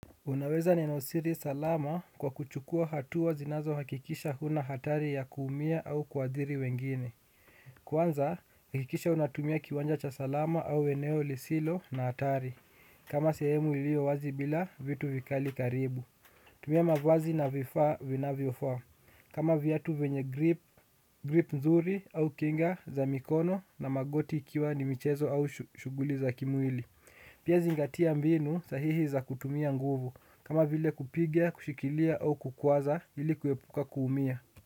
Unaweza neno siri salama kwa kuchukua hatuwa zinazohakikisha huna hatari ya kuumia au kuadhiri wengine. Kwanza, hekikisha unatumia kiwanja cha salama au eneo lisilo na hatari. Kama sehemu ilio wazi bila vitu vikali karibu. Tumia mavazi na vifaa vinavyofaa. Kama viatu venye grip nzuri au kinga za mikono na magoti ikiwa ni michezo au shuguli za kimwili. Pia zingatia mbinu sahihi za kutumia nguvu. Kama vile kupiga, kushikilia au kukwaza, hili kuepuka kuumia.